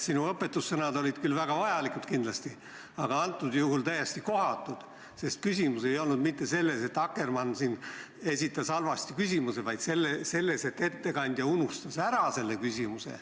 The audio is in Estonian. Sinu õpetussõnad olid küll väga vajalikud, aga konkreetsel juhul täiesti kohatud, sest küsimus ei olnud mitte selles, et Akkermann esitas halvasti sõnastatud küsimuse, vaid selles, et ettekandja unustas küsimuse sisu ära.